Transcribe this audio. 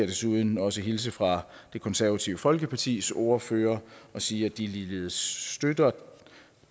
desuden også hilse fra det konservative folkepartis ordfører og sige at de ligeledes støtter